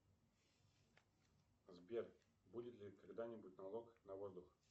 сбер будет ли когда нибудь налог на воздух